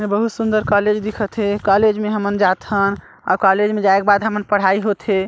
इसमे बहुत सुंदर कॉलेज दिखा थे कॉलेज मे हमन जा थन कॉलेज मे जाए के बाद हमन पढ़ाई होंथे।